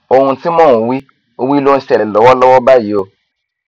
ohun tí mò ń wí wí ló ń ṣẹlẹ lọwọlọwọ báyìí o